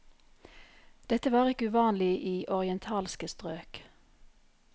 Dette var ikke uvanlig i orientalske strøk.